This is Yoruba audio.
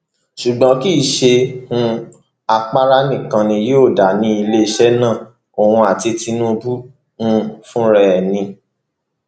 ṣùgbọn kì í ṣe um àpárá nìkan ni yóò dá ní iléeṣẹ náà òun àti tinubu um fúnra ẹ ni